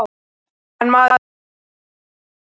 En maður náttúrlega man eftir þeim.